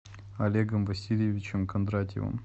олегом васильевичем кондратьевым